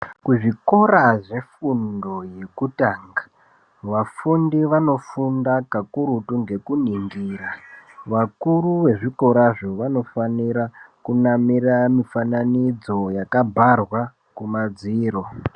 Kuzvikora zvefundo yekutanga vafundi vanofunda kakurutu ngekuningira vakuru vezvikorazvo vanofanira kunamira mifananidzo yakabharwa kumadziro.